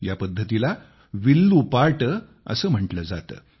या पद्धतीला विल्लू पाट असे म्हटले जाते